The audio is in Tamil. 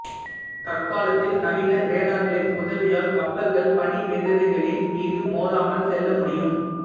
தற்காலத்தில் நவீன ரேடார்களின் உதவியால் கப்பல்கள் பனி மிதவைகளின் மீது மோதாமல் செல்ல முடியும்